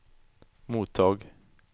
mottag